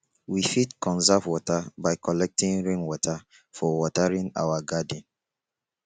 we fit conserve water by collecting rain water for watering our garden